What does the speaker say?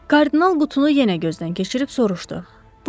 Kardinal qutunu yenə gözdən keçirib soruşdu.